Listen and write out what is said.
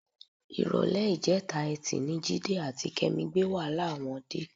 Ìrọ̀lẹ́ ìjẹta Ẹtì ni Jídé àti Kẹ́mi wàhálà wọn dé.